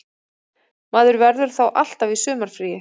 Maður verður þá alltaf í sumarfríi